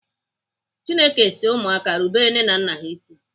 Chineke si ụmụaka rubere nne na nna ha ịsị.